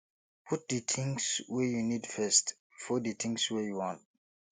put di things wey you need first before di things wey you want